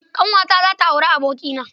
Ƙanwata za ta yi auri abokina